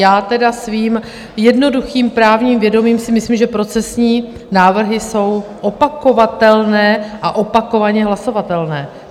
Já tedy svým jednoduchým právním vědomím si myslím, že procesní návrhy jsou opakovatelné a opakovaně hlasovatelné.